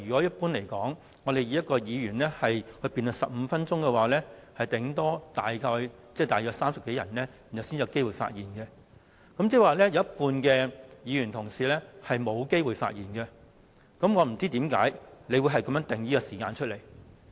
一般而言，以一位議員發言15分鐘計 ，8 小時大約只能讓30多位議員發言，即有一半議員沒有機會發言，我不知道為何你會定出這樣的時限。